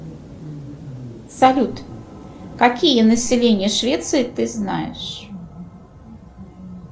салют какие населения швеции ты знаешь